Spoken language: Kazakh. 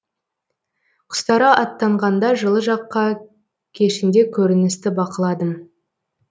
құстары аттанғанда жылы жаққа кешінде көріністі бақыладым